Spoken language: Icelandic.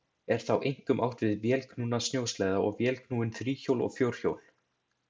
Er þá einkum átt við vélknúna snjósleða og vélknúin þríhjól og fjórhjól.